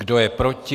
Kdo je proti?